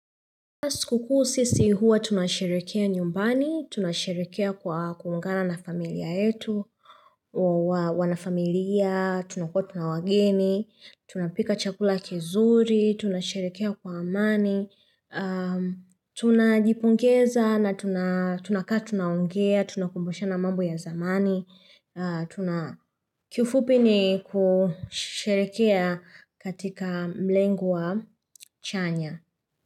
Siku kuu sisi huwa tunasherekea nyumbani, tunasherekea kwa kuungana na familia yetu, wanafamilia, tunakuwa pia na wageni, tunapika chakula kizuri, tunasherekea kwa amani, tunajipongeza na tunakaa tunaongea, tunakumbushana mambo ya zamani, kufupi ni kusherekea katika mlengo wa chanya.